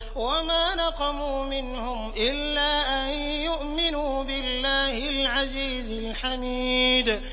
وَمَا نَقَمُوا مِنْهُمْ إِلَّا أَن يُؤْمِنُوا بِاللَّهِ الْعَزِيزِ الْحَمِيدِ